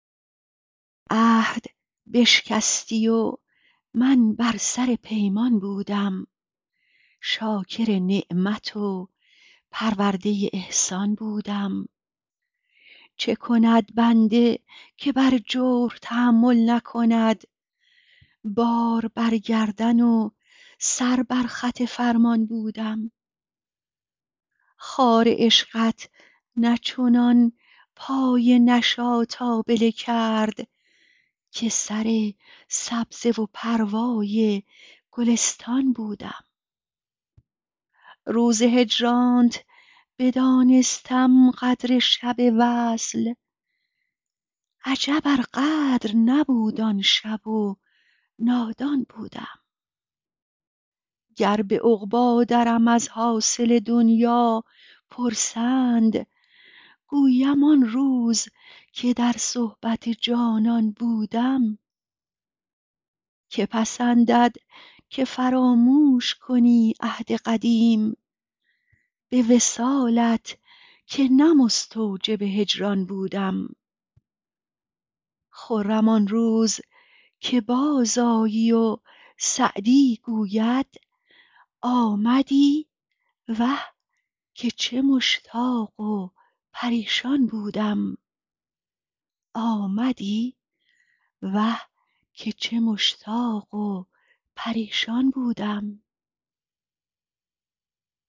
عهد بشکستی و من بر سر پیمان بودم شاکر نعمت و پرورده احسان بودم چه کند بنده که بر جور تحمل نکند بار بر گردن و سر بر خط فرمان بودم خار عشقت نه چنان پای نشاط آبله کرد که سر سبزه و پروای گلستان بودم روز هجرانت بدانستم قدر شب وصل عجب ار قدر نبود آن شب و نادان بودم گر به عقبی درم از حاصل دنیا پرسند گویم آن روز که در صحبت جانان بودم که پسندد که فراموش کنی عهد قدیم به وصالت که نه مستوجب هجران بودم خرم آن روز که بازآیی و سعدی گوید آمدی وه که چه مشتاق و پریشان بودم